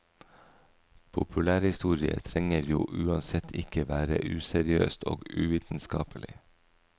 Populærhistorie trenger jo uansett ikke være useriøst og uvitenskapelig.